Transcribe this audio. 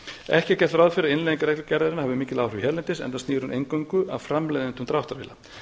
ekki er gert ráð fyrir að innleiðing reglugerðarinnar hafi mikil áhrif hérlendis enda snýr hún eingöngu að framleiðendum dráttarvéla